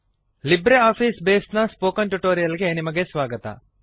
Libre office base ನ spoken tutorial ಗೆ ನಿಮಗೆ ಸ್ವಾಗತ